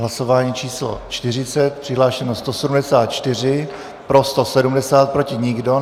Hlasování číslo 40. Přihlášeno 174, pro 170, proti nikdo.